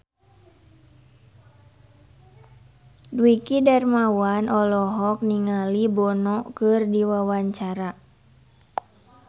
Dwiki Darmawan olohok ningali Bono keur diwawancara